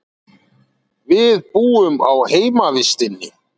Við búum á heimavistinni.